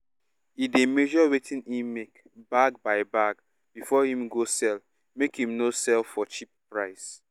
e dey measure wetin him make bag by bag before him go sell make him no sell for cheap price